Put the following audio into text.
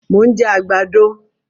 Mo ń jẹ àgbàdo